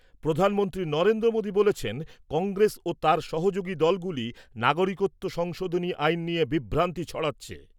প্রধানমন্ত্রী নরেন্দ্র মোদি বলেছেন, কংগ্রেস ও তার সহযোগী দলগুলি নাগরিকত্ব সংশোধনী আইন নিয়ে বিভ্রান্তি ছড়াচ্ছে।